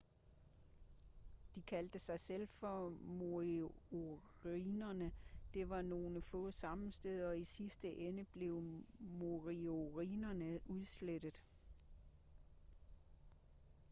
de kaldte sig selv for moriorierne.der var nogle få sammenstød og i sidste ende blev moriorierne udslettet